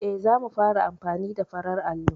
Eh, za mu fara amfani da farar allo.